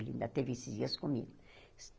Ele ainda teve esses dias comigo.